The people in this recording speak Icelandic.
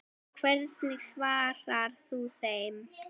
Hvernig svarar þú þeim?